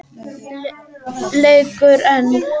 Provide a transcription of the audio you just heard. Leikur einn.